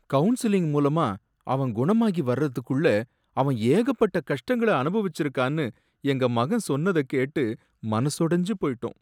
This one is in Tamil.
கவுன்லிங் மூலமா அவன் குணமாகி வரதுக்குள்ள அவன் ஏகப்பட்ட கஷ்டங்களை அனுபவிச்சிருக்கான்னு எங்க மகன் சொன்னத கேட்டு மனசொடைஞ்சு போயிட்டோம்.